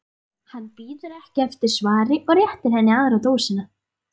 Hann bíður ekki eftir svari og réttir henni aðra dósina.